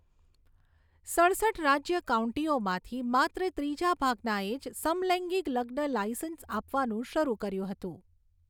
સડસઠ રાજ્ય કાઉન્ટીઓમાંથી, માત્ર ત્રીજા ભાગનાએ જ સમલૈંગિક લગ્ન લાઇસન્સ આપવાનું શરૂ કર્યું હતું.